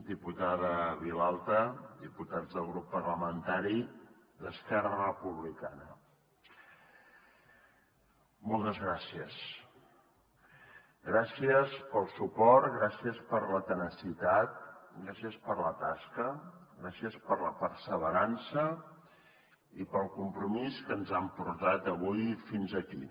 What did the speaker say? diputada vilalta diputats del grup parlamentari d’esquerra republicana moltes gràcies gràcies pel suport gràcies per la tenacitat gràcies per la tasca gràcies per la perseverança i pel compromís que ens han portat avui fins aquí